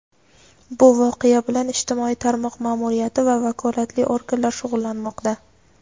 bu voqea bilan ijtimoiy tarmoq ma’muriyati va vakolatli organlar shug‘ullanmoqda.